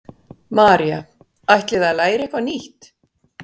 María: Ætlið þið að læra eitthvað nýtt?